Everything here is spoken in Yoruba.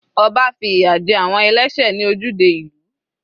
Ọba fi ìyà jẹ àwọn ẹlẹ́sẹ̀ ní ojúde ìlú.